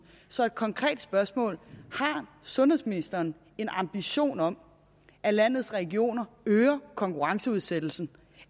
så et konkret spørgsmål har sundhedsministeren en ambition om at landets regioner øger konkurrenceudsættelsen